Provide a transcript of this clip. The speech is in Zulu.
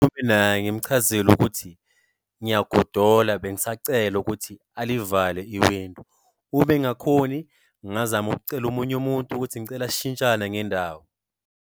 naye ngimchazele ukuthi ngiyagodola bengisacela ukuthi alivale i-window. Ube engakhoni, ngingazama ukucela omunye umuntu ukuthi ngicela sishintshane ngendawo.